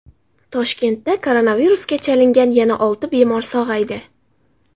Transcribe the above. Toshkentda koronavirusga chalingan yana olti bemor sog‘aydi.